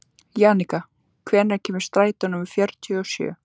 Jannika, hvenær kemur strætó númer fjörutíu og sjö?